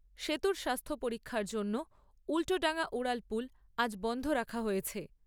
সেতুর স্বাস্থ্য পরীক্ষার জন্য উল্টোডাঙ্গা উড়ালপুল আজ বন্ধ রাখা হয়েছে।